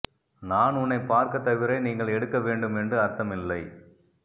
நான் உன்னை பார்க்க தவிர நீங்கள் எடுக்க வேண்டும் என்று அர்த்தம் இல்லை